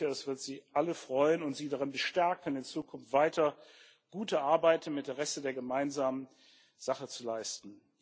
Ich bin sicher, es wird sie alle freuen und sie darin bestärken, in Zukunft weiter gute Arbeit im Interesse der gemeinsamen Sache zu leisten.